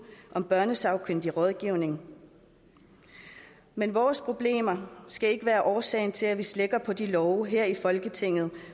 om børnesagkyndig rådgivning men vores problemer skal ikke være årsag til at vi slækker på de love her i folketinget